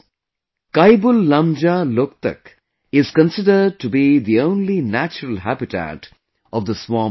KaibulLamjaa, Loktak is considered to be the only natural habitat of the Swamp Deer